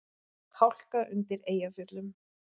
Hálka undir Eyjafjöllum